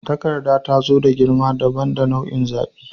Takarda ta zo da girma dabam da nau'in zaɓi.